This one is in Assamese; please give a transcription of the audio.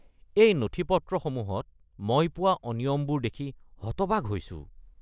এই নথিপত্ৰসমূহত মই পোৱা অনিয়মবোৰ দেখি হতবাক হৈছোঁ।